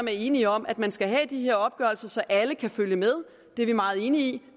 er enige om at man skal have de her opgørelser så alle kan følge med det er vi meget enige i